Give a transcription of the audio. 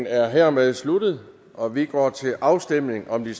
er hermed sluttet og vi går til afstemning om de